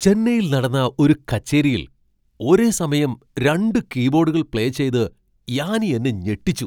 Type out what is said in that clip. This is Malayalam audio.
ചെന്നൈയിൽ നടന്ന ഒരു കച്ചേരിയിൽ ഒരേസമയം രണ്ട് കീബോഡുകൾ പ്ലേ ചെയ്ത് യാനി എന്നെ ഞെട്ടിച്ചു.